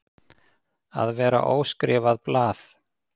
Að vera óskrifað blað